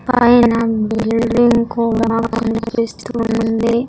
పైన బిల్డింగ్ కూడా కనిపిస్తూ ఉంది.